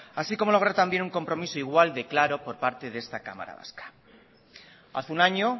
así como lograr también un compromiso igual de claro por parte de esta cámara vasca hace un año